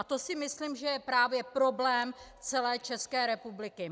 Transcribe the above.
A to si myslím, že je právě problém celé České republiky.